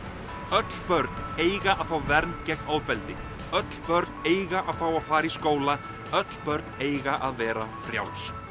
öll börn eiga að fá vernd gegn ofbeldi öll börn eiga að fá að fara í skóla öll börn eiga að vera frjáls